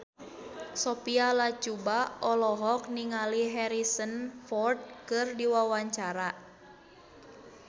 Sophia Latjuba olohok ningali Harrison Ford keur diwawancara